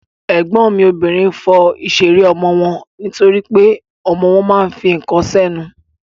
Ègbọ́n mi obìnrin fọ ìṣeré ọmọ wọn nítorípé ọmọ wọn ma ń fi ǹkan sẹ́nu.